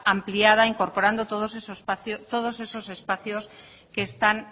ampliada incorporando todo esos espacios que están